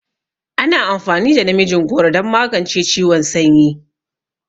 Ana amfani da namijin goro don magance ciwon sanyi.